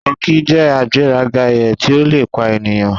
Tọki jẹ agberaga eye ti o lepa eniyan.